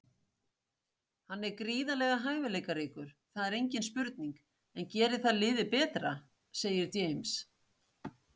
Hann er gríðarlega hæfileikaríkur, það er engin spurning, en gerir það liðið betra? segir James.